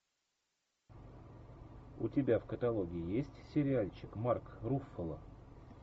у тебя в каталоге есть сериальчик марк руффало